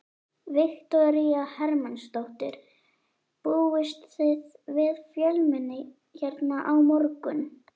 Viktoría Hermannsdóttir: Búist þið við fjölmenni hérna á morgun?